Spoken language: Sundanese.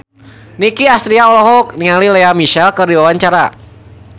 Nicky Astria olohok ningali Lea Michele keur diwawancara